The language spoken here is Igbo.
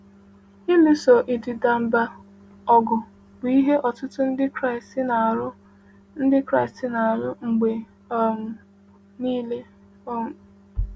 Ịlụso ịdịda mbà ọgụ bụ ihe ọtụtụ Ndị Kraịst na-alụ Ndị Kraịst na-alụ mgbe um niile. um